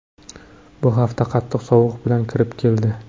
Bu hafta qattiq sovuq bilan kirib keldi.